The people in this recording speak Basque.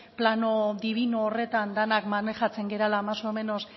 plano dibino horretan denak maneiatzen garela más o menos